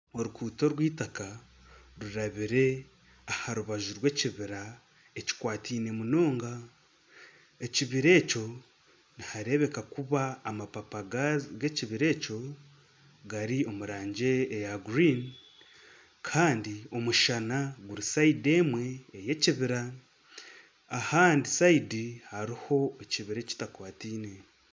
Oruguuto orwita rurabire aharubaju rw'ekibira ekikwatiine munonga ekibira ekyo nihareebeka kuba amababi g'ekibira ekyo gari omu rangi eya guriini kandi omushana guri siyidi emwe ey'ekibira ahandi siyidi hariho ekibira ekitakwatiine